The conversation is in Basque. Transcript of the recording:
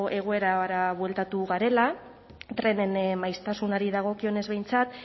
egoerara bueltatu garela trenen maiztasunari dagokionez behintzat